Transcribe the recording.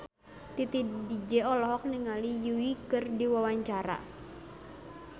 Titi DJ olohok ningali Yui keur diwawancara